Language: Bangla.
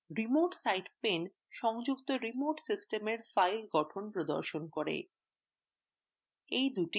remote site pane সংযুক্ত remote সিস্টেমের file গঠন প্রদর্শন করে